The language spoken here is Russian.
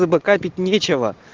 ничего